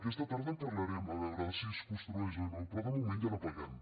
aquesta tarda en parlarem a veure si es construeix o no però de moment ja ho paguem